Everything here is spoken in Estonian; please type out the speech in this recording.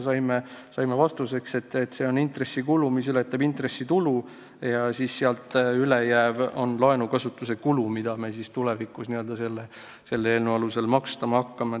Saime vastuseks, et kui intressikulu ületab intressitulu, siis sealt ülejääv on laenukasutuse kulu, mida me tulevikus selle eelnõu alusel maksustama hakkame.